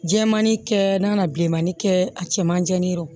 Jɛman ni kɛ n'a ka bilenmanin kɛ a cɛ man di o